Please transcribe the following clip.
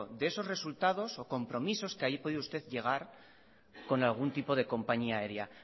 de esos resultados o compromisos que haya podido usted llegar con algún tipo de compañía aérea